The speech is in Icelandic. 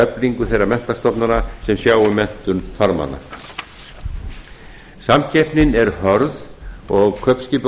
eflingu þeirra menntastofnana sem sjá um menntun farmanna samkeppnin er hörð og